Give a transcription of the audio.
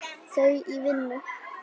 Þau í vinnu.